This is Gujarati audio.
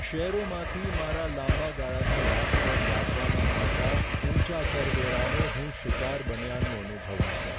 શેરોમાંથી મારા લાંબા ગાળાના લાભ પર લાદવામાં આવતા ઊંચા કરવેરાનો હું શિકાર બન્યાનું અનુભવું છું.